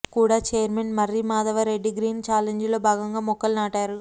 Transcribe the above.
కుడా chairman Marri Yadavareddy green challenge లో భాగంగా మొక్కలు నాటారు